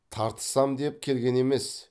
тартысам деп келген емес